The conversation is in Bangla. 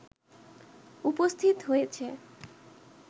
উপস্থিত হয়েছে